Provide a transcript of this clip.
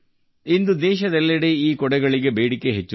ಇಂದು ದೇಶಾದ್ಯಂತ ಈ ಛತ್ರಿಗಳಿಗೆ ಬೇಡಿಕೆ ಹೆಚ್ಚುತ್ತಿದೆ